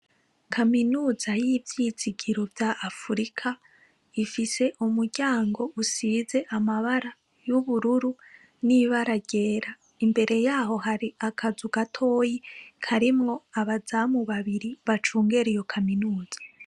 Kaminuza y'ivyizigiro vya Afrika ifise umuryango usize amabara y'ubururu n'ibara ryera. Imbere yaho hari akazu gatoyi karimwo abazamu babiri bacungera iyo kaminuza.